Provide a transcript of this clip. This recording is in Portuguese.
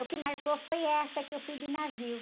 O que marcou foi essa, que eu fui de navio.